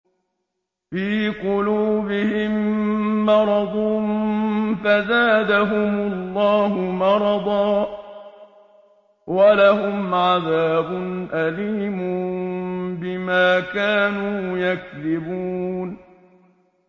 فِي قُلُوبِهِم مَّرَضٌ فَزَادَهُمُ اللَّهُ مَرَضًا ۖ وَلَهُمْ عَذَابٌ أَلِيمٌ بِمَا كَانُوا يَكْذِبُونَ